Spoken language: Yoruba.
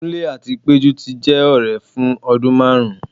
kunle ati pejú ti jẹ ọrẹ fun ọdun marún